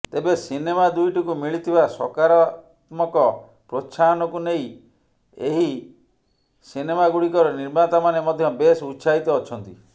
ତେବେ ସିନେମା ଦୁଇଟିକୁ ମିଳିଥିବା ସକାରତ୍ମକ ପ୍ରୋତ୍ସାହନକୁ ନେଇ ଏହି ସିନେମାଗୁଡିକର ନିର୍ମାତାମାନେ ମଧ୍ୟ ବେଶ୍ ଉତ୍ସାହିତ ଅଛନ୍ତି